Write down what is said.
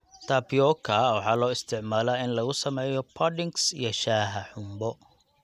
Tapioca waxaa loo isticmaalaa in lagu sameeyo puddings iyo shaaha xumbo.